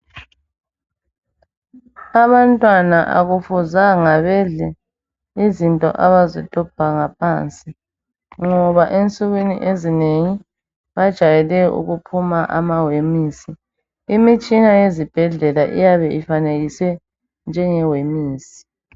Abantwana akufuzanga bedle izinto abazidobha ngaphansi ngoba ensukwini ezinengi bajayele ukuphuma amawemisi, imitshina yesibhedlela iyabe ifanekise njenge wemisi.